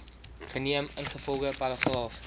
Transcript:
geneem ingevolge paragraaf